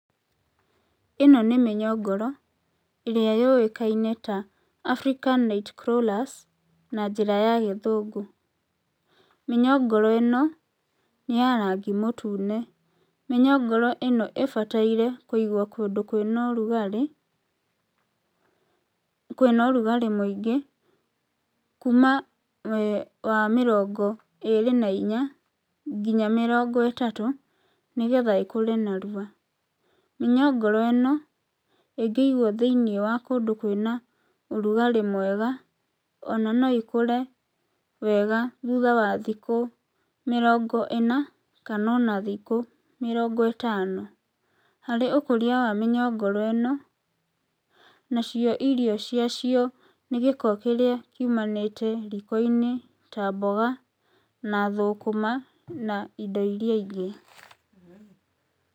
Ĩno nĩ mĩnyongoro ĩrĩa yũĩkaine ta African night crawlers na njĩra ya gĩthũngũ. Mĩnyongoro ĩno nĩ ya rangi mũtune, mĩnyongoro ĩno ĩbataire kũndũ kwĩna ũrugarĩ, kwĩna ũrugarĩ mũingĩ kuma wa mĩrongo ĩrĩ na inya nginya mĩrongo ĩtatũ, nĩgetha ĩkũre narua. Mĩnyongoro ĩno ĩngĩigwo thĩiniĩ wa kũndũ kwĩna ũrugarĩ mwega ona no ĩkũre wega thutha wa thikũ mĩrongo ĩna kana ona thikũ mĩrongo ĩtano. Harĩ kũria wa mĩnyongoro ĩno nacio irio cia acio nĩ gĩko kĩrĩa kiumanagĩte riiko-inĩ ta mboga na thũkũma na indo irĩa ingĩ.